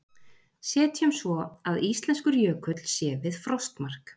Setjum svo að íslenskur jökull sé við frostmark.